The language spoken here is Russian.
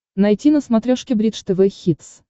найти на смотрешке бридж тв хитс